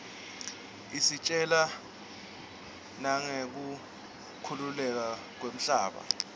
isitjela nangeku khukhuleka kwemhlaba